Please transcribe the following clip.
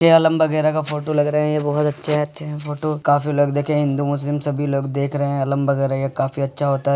ये आलम बगैरा का फोटो लग रहे है। ये बहोत अच्छे अच्छे है फोटो । काफी लोग देखे फोटो । हिन्दू मुस्लिम सभी लोग देख रहे हैं। आलम बगैरा ये काफी अच्छा होता है।